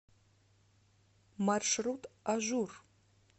маршрут ажур